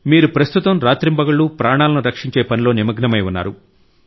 మీరు ప్రస్తుతం రాత్రింబగళ్లు ప్రాణాలను రక్షించే పనిలో నిమగ్నమై ఉన్నారు